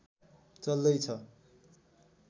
चल्दै छ